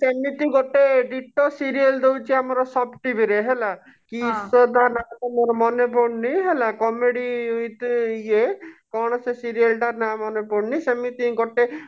ସେମିତି ଗୋଟେ deto serial ଦଉଛି ଆମର sab TV ରେ ହେଲା କିସ ତା ନା ଟା ମୋର ମନେ ପଡୁନି ହେଲା comedy with ଇଏ କଣ ସେ serial ନା ଟା ମନେ ପଡୁନି ସେମିତି ହିଁ ଗୋଟେ